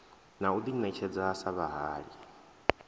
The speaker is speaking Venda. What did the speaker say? na u ḓiṋetshedza sa vhahali